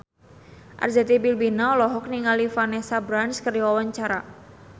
Arzetti Bilbina olohok ningali Vanessa Branch keur diwawancara